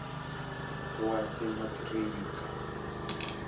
wasemasreeka